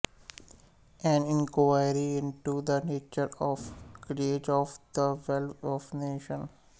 N inquiry into the nature and causes of the wealth of nations